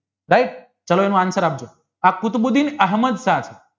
right ચાલો એનો answer આપજો